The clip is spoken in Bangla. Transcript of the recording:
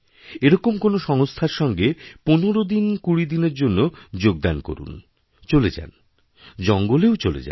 এরকম কোন সংস্থার সঙ্গে ১৫ দিন ২০দিনের জন্য যোগদান করুন চলে যান জঙ্গলেও চলে যান